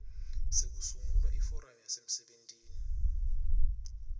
sekusungula iforamu yasemsebentini